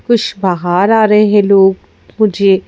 कुछ बाहर आ रहे हैं लोग मुझे--